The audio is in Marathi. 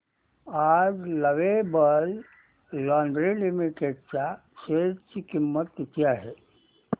आज लवेबल लॉन्जरे लिमिटेड च्या शेअर ची किंमत किती आहे